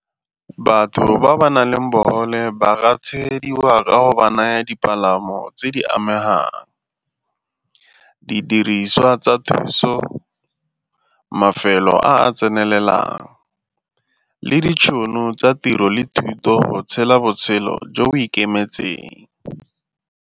Batho ba ba nang le bogole ba ka tshegediwa ka go ba naya dipalamo tse di amegang, didiriswa tsa thuso, mafelo a tsenelelang le ditšhono tsa tiro le thuto tshela botshelo jo bo ikemetseng.